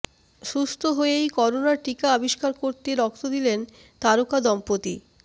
সুস্থ হয়েই করোনার টিকা আবিষ্কার করতে রক্ত দিলেন তারকা দম্পতি